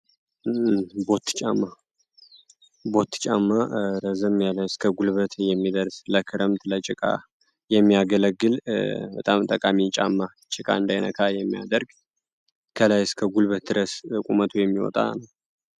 ቦቲ ጫማ ቦቲ ጫማ ረዘም ያለ እስከ ጉልበት የሚደርስ ለክረምት ለጭቃ የሚያገለግል በጣም ጠቃሚ ጫማ ጭቃ እንዳይነካን የሚያደርግ ከላይ እስከ ጉልበት ድረስ ቁመቱ የሚወጣ።